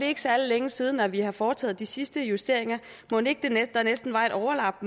ikke særlig længe siden at vi har foretaget de sidste justeringer mon ikke der næsten var et overlap